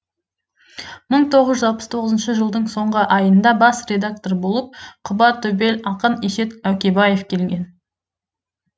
мың тоғыз жүз алпыс тоғызыншы жылдың соңғы айында бас редактор болып құбатөбел ақын есет әукебаев келген